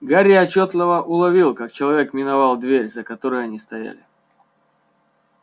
гарри отчётливо уловил как человек миновал дверь за которой они стояли